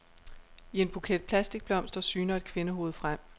I en buket plastikblomster syner et kvindehoved frem.